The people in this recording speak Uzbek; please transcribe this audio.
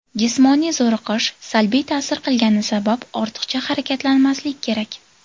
Jismoniy zo‘riqish salbiy ta’sir qilgani sabab ortiqcha harakatlanmaslik kerak.